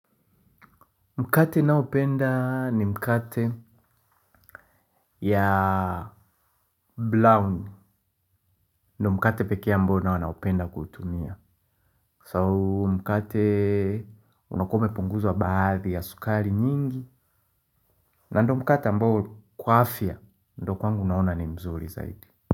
Mkate naopenda ni mkate ya brown. Ndo mkate pekee ambao nao naupenda kuutumia So mkate unakuwa umepunguzwa baadhi ya sukari nyingi. Na ndo mkate ambao kwa afya ndo kwangu naona ni mzuri zaidi.